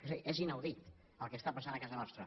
és a dir és inaudit el que està passant a casa nostra